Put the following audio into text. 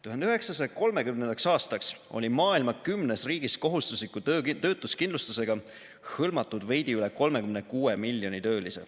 1930. aastaks oli maailma 10 riigis kohustusliku töötuskindlustusega hõlmatud veidi üle 36 miljoni töölise.